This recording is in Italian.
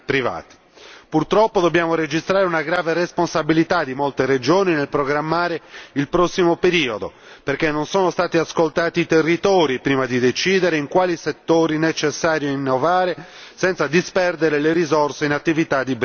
Purtroppo, dobbiamo registrare una grave responsabilità di molte regioni nel programmare il prossimo periodo, perché non sono stati ascoltati i territori prima di decidere in quali settori è necessario innovare, senza disperdere le risorse in attività di breve respiro.